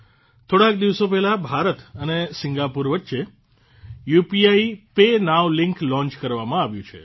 થોડાંક દિવસો પહેલા ભારત અને સિંગાપુર વચ્ચે ઉપીપાય નોવ લિંક લોન્ચ કરવામાં આવ્યું છે